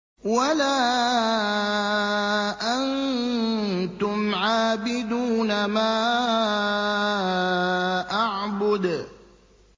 وَلَا أَنتُمْ عَابِدُونَ مَا أَعْبُدُ